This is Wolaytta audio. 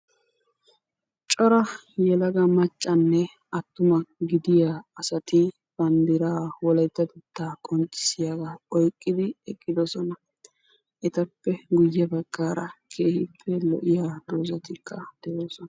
Cora yelaga maccanne attuma gidiyaa asati banddiraa wolaytatettaa qonccisiyaagaa oyqqidi eqqidosona. etappe guye baggaara keehippe lo'iyaa doozatikka de'oosona.